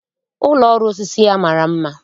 Ụlọ ọrụ osisi ya mara mma